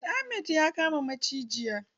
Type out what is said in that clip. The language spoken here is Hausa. Ahmad ya kama maciji.